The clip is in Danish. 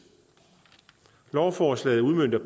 lovforslaget udmønter